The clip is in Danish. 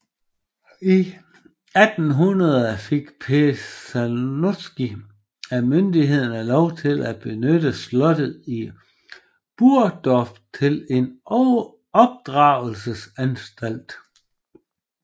I 1800 fik Pestalozzi af myndighederne lov til at benytte slottet i Burgdorf til en opdragelsesanstalt